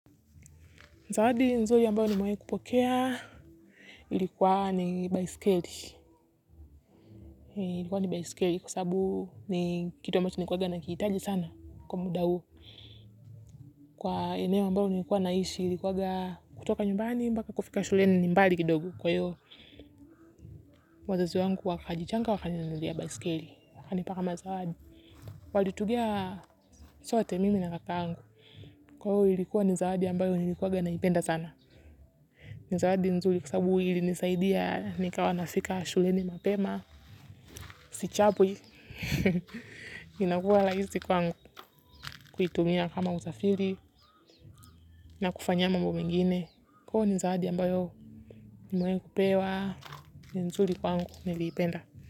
Zawadi nzuri ambayo nimewahi kupokea ilikuwa ni baiskeli. Ilikuwa ni baiskeli kwa sababu ni kitu ambacho nilikuanga nahitaji sana kwa muda huu. Kwa eneo ambayo nikuwa naishi ilikuanga kutoka nyumbani mbaka kufika shuleni ni mbali kidogo kwa hiyo, wazazi wangu wakajichanga wakaninunulia baiskeli wakanipa kama zawadi. Walitugia sote mimi na kakangu. Kwa hiyo, ilikuwa ni zawadi ambayo nilikuanha naipenda sana. Ni zawadi nzuri kwa sababu ilinisaidia nikawa nafika shuleni mapema, si chapwi. Inakuwa rahisi kwangu. Kuitumia kama uzafiri na kufanyia mambo mengine. Huo ni zawadi ambayo nimewahi kupewa. Ni nzuri kwangu. Niliipenda.